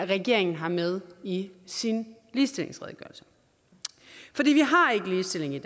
regeringen har med i sin ligestillingsredegørelse for vi har ikke ligestilling i